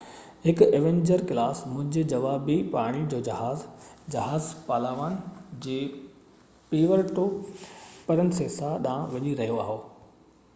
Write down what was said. هڪ Avenger class منهنجي جوابي پاڻي جو جهاز جهاز پالاوان جي پيورٽو پرنسيسا ڏانهن وڃي رهيو هو